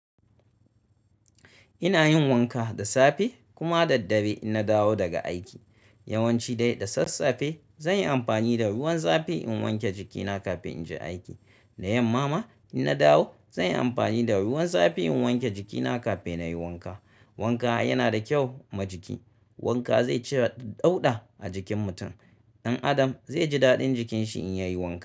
Inayin wanka da safe kuma da daddare inna dawo daga aiki. Yawanci dai da sassafe zan yi amfani da ruwan zafi in wanke jikina kafin in je aiki. Da yamma ma in na dawo zan yi amfani da ruwan zafi in wanke jikina kafin na yi wanka. Wanka yana da kyau ma jiki. Wanka zai cire ɗauɗa a jikin mutum. Ɗan Adam zai ji daɗin jikinshi in ya yi wanka.